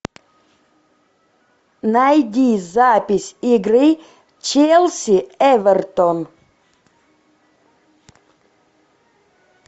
найди запись игры челси эвертон